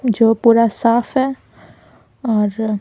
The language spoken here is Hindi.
जो पूरा साफ है और --